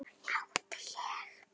Átti ég.